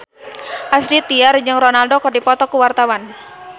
Astrid Tiar jeung Ronaldo keur dipoto ku wartawan